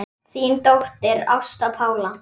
Þín dóttir, Ásta Pála.